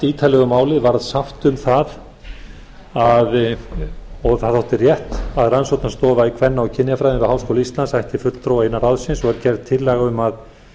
ítarlega um málið var sátt um það og það þótti rétt að rannsóknarstofa í kvenna og kynjafræðum við háskóla íslands ætti fulltrúa innan ráðsins og var gerð tillaga um að